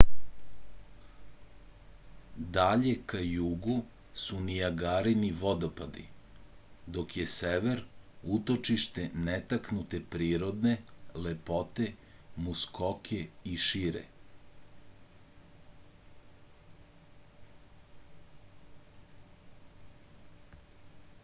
dalje ka jugu su nijagarini vodopadi dok je sever utočište netaknute prirodne lepote muskoke i šire